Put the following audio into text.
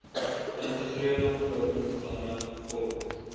geïntegreerde ontwikkelingsplanne gop